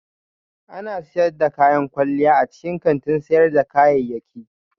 Ana sayar da kayan kwalliya a cikin kantin sayar da kayayyaki